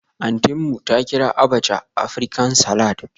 Auntynmu ta kira abacha Aprican-salad